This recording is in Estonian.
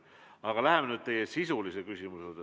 Aga lähme nüüd teie sisulise küsimuse juurde.